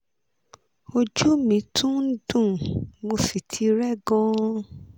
ojú mi tún ń dùn mo sì ti rẹ́ gan-an